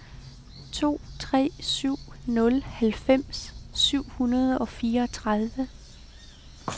to tre syv nul halvfems syv hundrede og fireogtredive